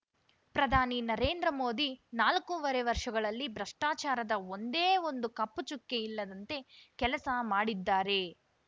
ಪ್ರಧಾನಿ ನರೇಂದ್ರ ಮೋದಿ ನಾಲ್ಕೂವರೆ ವರ್ಷಗಳಲ್ಲಿ ಭ್ರಷ್ಟಾಚಾರದ ಒಂದೇ ಒಂದು ಕಪ್ಪು ಚುಕ್ಕೆ ಇಲ್ಲದಂತೆ ಕೆಲಸ ಮಾಡಿದ್ದಾರೆ